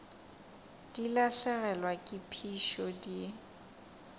di lahlegelwa ke phišo di